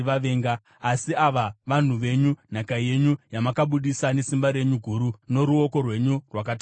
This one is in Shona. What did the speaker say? Asi ava vanhu venyu, nhaka yenyu yamakabudisa nesimba renyu guru noruoko rwenyu rwakatambanudzwa.”